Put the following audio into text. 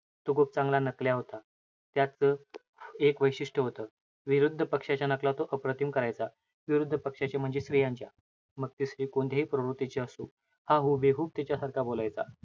तो खूप चांगला नकल्या होता. त्याचं एक वैशिष्ट्य होतं. विरुध्दपक्षाच्या नकला तो अप्रतिम करायचा. विरुध्दपक्षाच्या म्हणजे स्त्रियांच्या. मग ती स्त्री कोणत्याही प्रवृत्तीची असो. हा हूबेहूब त्याच्या सारखा बोलायचा.